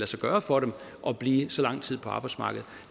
sig gøre for dem at blive så lang tid på arbejdsmarkedet